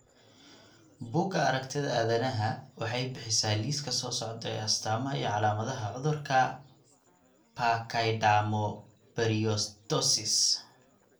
Bugaa aragtida aDdanaha waxay bixisaa liiska soo socda ee astamaha iyo calaamadaha cudurka Pachydermoperiostosis.